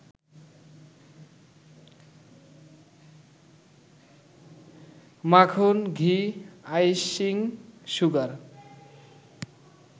মাখন, ঘি, icing sugar